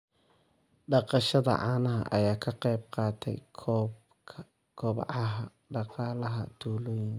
Dhaqashada caanaha ayaa ka qayb qaadata kobaca dhaqaalaha tuulooyinka.